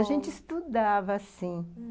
A gente estudava, sim.